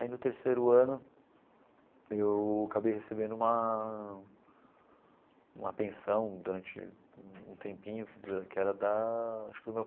Aí, no terceiro ano, eu acabei recebendo uma uma pensão durante um tempinho, que era da acho que do meu.